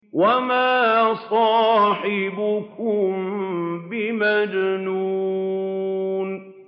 وَمَا صَاحِبُكُم بِمَجْنُونٍ